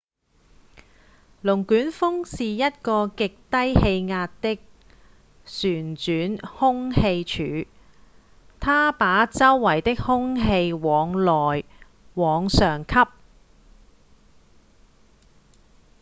龍捲風是一個極低氣壓的旋轉空氣柱它把周圍的空氣往內、往上吸